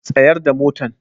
Tsayar da motan!